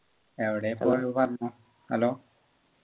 എവിടെയാ പോയത് പറഞ്ഞോ hello